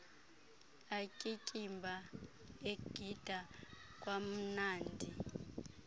atyityimba egida kwamnandi